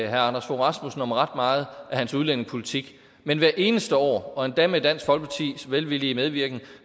herre anders fogh rasmussen om ret meget af hans udlændingepolitik men hvert eneste år og endda med dansk folkepartis velvillige medvirken